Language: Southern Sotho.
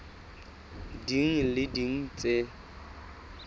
ding le tse ding tse